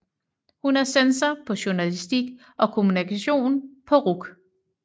Hun er censor på Journalistik og Kommunikation på RUC